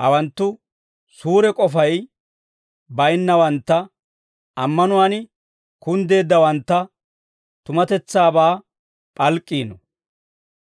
hawanttu, suure k'ofay baynnawantta ammanuwaan kunddeeddawanttu, tumatetsaabaa p'alk'k'iino.